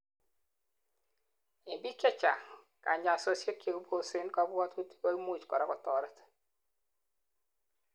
en biik chechang, kanyaisosiek chekibosen kabwotutik koimuch korak kotoret